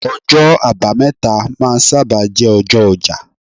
ọjọ abameta ma n saba jé ọjọ oja